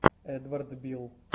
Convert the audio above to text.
эдвард билл